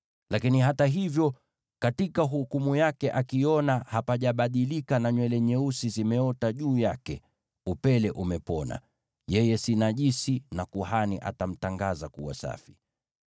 Hata hivyo, katika uchunguzi wake akiona hapajabadilika, na nywele nyeusi zimeota juu yake, upele umepona. Yeye si najisi, kuhani atamtangaza kuwa safi.